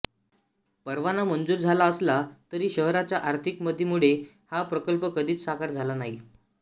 परवाना मंजूर झाला असला तरी शहराच्या आर्थिक मंदीमुळे हा प्रकल्प कधीच साकार झाला नाही